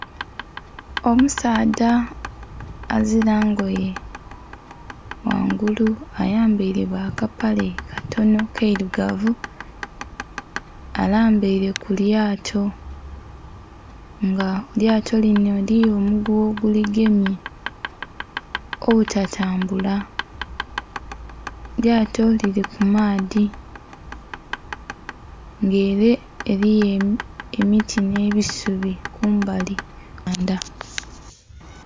Omusaadha azira engoye ghangulu ayambaire ghakapale katono kairugavu alambaire kulyato nga elyato lino eriyo omuguwa oguligemye obutatambula, elyato liri kumaadhi nga ere eriyo emiti n'ebisubi kumbali kunhandha.